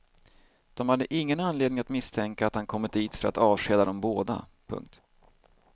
De hade ingen anledning att misstänka att han kommit dit för att avskeda dem båda. punkt